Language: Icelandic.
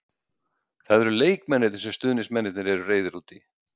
Það eru leikmennirnir sem stuðningsmennirnir eru reiðir út í.